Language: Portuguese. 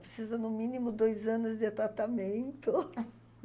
Precisa, no mínimo, dois anos de tratamento.